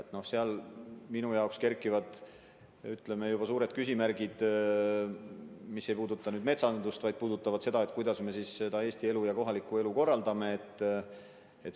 Sellega seoses minu jaoks kerkivad juba suured küsimärgid, mis ei puuduta üksnes metsandust, vaid puudutavad seda, kuidas me üldse seda Eesti elu, ka kohalikku elu korraldame.